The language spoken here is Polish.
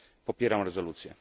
Popieram rezolucję.